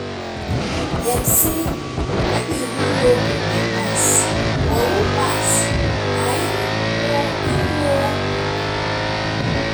dem say "no be who no book dey pass but who pass na em know em know book"